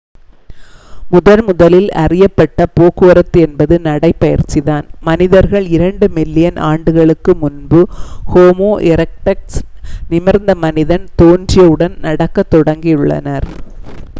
முதன்முதலில் அறியப்பட்ட போக்குவரத்து என்பது நடைபயிற்சிதான் மனிதர்கள் இரண்டு மில்லியன் ஆண்டுகளுக்கு முன்பு ஹோமோ எரெக்டஸ் நிமிர்ந்த மனிதன் தோன்றியவுடன் நடக்கத் தொடங்கியுள்ளனர்